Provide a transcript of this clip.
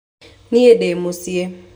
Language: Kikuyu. Nie ndĩ mũciĩ